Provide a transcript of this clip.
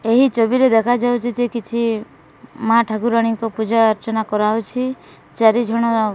ଏହି ଜମିରେ ଦେଖା ଯାଉଚି ଯେ କିଛି ମା ଠାକୁରାଣୀଙ୍କ ପୂଜା ଅର୍ଚ୍ଚନା କରାହଉଚି ଚାରିଜଣ --